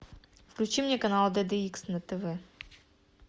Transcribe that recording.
включи мне канал дд икс на тв